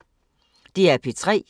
DR P3